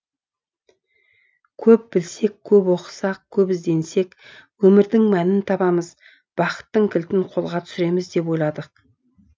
көп білсек көп оқысақ көп ізденсек өмірдің мәнін табамыз бақыттың кілтін қолға түсіреміз деп ойладық